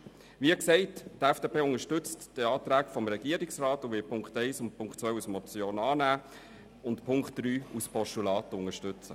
Wie gesagt, unterstützt die FDP die Anträge des Regierungsrats und wird die Punkte 1 und 2 als Motion annehmen und den Punkt 3 als Postulat unterstützen.